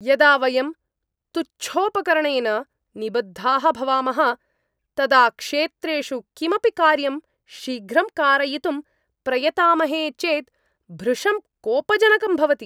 यदा वयं तुच्छोपकरणेन निबद्धाः भवामः, तदा क्षेत्रेषु किमपि कार्यं शीघ्रं कारयितुं प्रयतामहे चेद् भृशं कोपजनकं भवति।